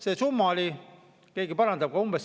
See summa oli – kas keegi parandab?